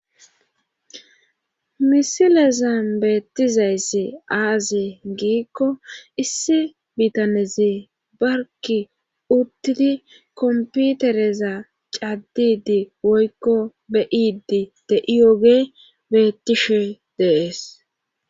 misilezan beettizayssi aaze giikko issi biitaneze barki uttidi komputereza caddidi woykko be7idi deiyoge bettishe dees